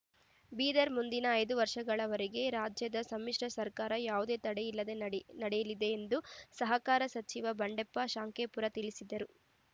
ಬೀದರ್‌ ಮುಂದಿನ ಐದು ವರ್ಷಗಳವರೆಗೆ ರಾಜ್ಯದ ಸಮ್ಮಿಶ್ರ ಸರ್ಕಾರ ಯಾವುದೇ ತಡೆಯಿಲ್ಲದೆ ನಡಿ ನಡೆಯಲಿದೆ ಎಂದು ಸಹಕಾರ ಸಚಿವ ಬಂಡೆಪ್ಪ ಖಾಶೆಂಪೂರ ತಿಳಿಸಿದ್ದರು